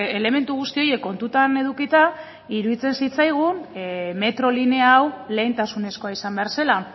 elementu guzti horiek kontutan edukita iruditzen zitzaigun metro linea hau lehentasunezkoa izan behar zela